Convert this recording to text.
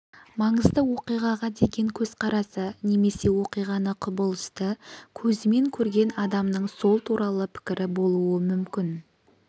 маңызды оқиғаға деген көзқарасы немесе оқиғаны құбылысты көзімен көрген адамның сол туралы пікірі болуы мүмкін